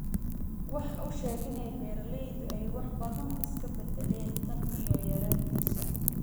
Waxa uu sheegay in beeralaydu ay wax badan iska beddeleen tan iyo yaraantiisii.